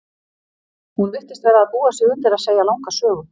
Hún virtist vera að búa sig undir að segja langa sögu.